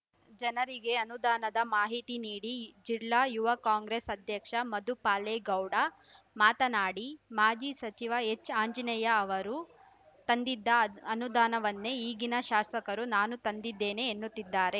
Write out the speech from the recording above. ಜನರಿಗೆ ಅನುದಾನದ ಮಾಹಿತಿ ನೀಡಿ ಜಿಲ್ಲಾ ಯುವ ಕಾಂಗ್ರೆಸ್‌ ಅಧ್ಯಕ್ಷ ಮಧುಪಾಲೇಗೌಡ ಮಾತನಾಡಿ ಮಾಜಿ ಸಚಿವ ಎಚ್‌ಆಂಜನೇಯ ಅವರು ತಂದಿದ್ದ ಅ ಅನುದಾನವನ್ನೇ ಈಗಿನ ಶಾಸಕರು ನಾನು ತಂದಿದ್ದೇನೆ ಎನ್ನುತ್ತಿದ್ದಾರೆ